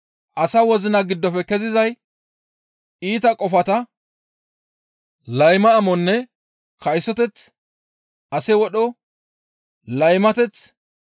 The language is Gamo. Asa wozina giddofe kezizay iita qofata, layma amonne kaysoteth, ase wodho, laymateth,